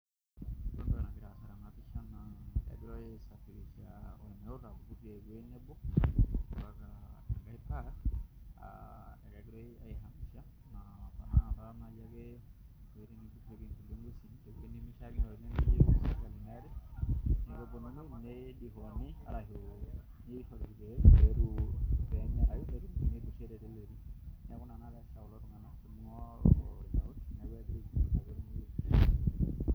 Ore entoki nagira aasa tena pisha naa kadolita ormeut ogirai aisafirisha tewuei nebo mpaka enkae naa kegirai aihamisha enaa naai ake